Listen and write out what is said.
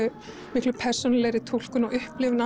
miklu persónulegri túlkun og upplifun